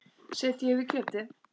Setjið yfir kjötið.